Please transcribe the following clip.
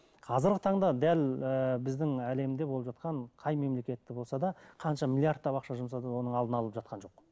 қазіргі таңда дәл ыыы біздің әлемде болып жатқан қай мемлекетте болса да қанша миллиардтап ақша жұмсатып оның алдын алып жатқан жоқ